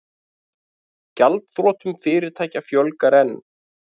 Gjaldþrotum fyrirtækja fjölgar enn